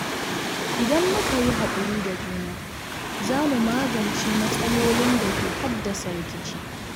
Idan muka yi hakuri da juna, za mu magance matsalolin da ke haddasa rikici.